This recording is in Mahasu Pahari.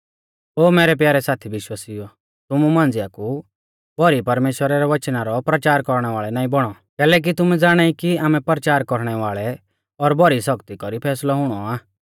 ओ मैरै प्यारै साथी विश्वासिउओ तुमु मांझ़िया कु भौरी परमेश्‍वरा रै वचना रौ परचार कौरणै वाल़ै नाईं बौणौ कैलैकि तुमै ज़ाणाई कि आमै परचार कौरणै वाल़ेऊ और भौरी सौख्ती कौरी फैसलौ हुणौ आ